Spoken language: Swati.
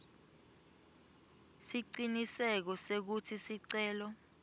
siciniseko sekutsi sicelo